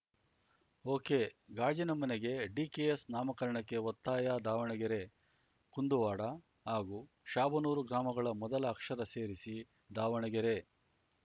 okay ಗಾಜಿನ ಮನೆಗೆ DKS ನಾಮಕರಣಕ್ಕೆ ಒತ್ತಾಯ ದಾವಣಗೆರೆ ಕುಂದುವಾಡ ಹಾಗೂ ಶಾಬನೂರು ಗ್ರಾಮಗಳ ಮೊದಲ ಅಕ್ಷರ ಸೇರಿಸಿ ದಾವಣಗೆರೆ